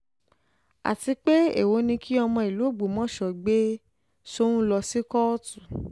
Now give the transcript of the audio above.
àti pé èèwọ̀ ni kí ọmọ ìlú ògbómọṣọ gbé soun lọ sí kóòtù